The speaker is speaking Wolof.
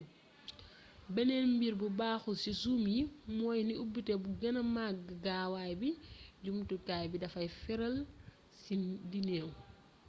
beneen mbir bu baxul ci zoom yi mooy ni ubité bu gëna mag gaawaay bi jumtukaay bi dafay faral di neew